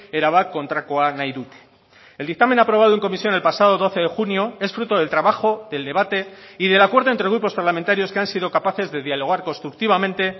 erabat kontrakoa nahi dute el dictamen aprobado en comisión el pasado doce de junio es fruto del trabajo del debate y del acuerdo entre grupos parlamentarios que han sido capaces de dialogar constructivamente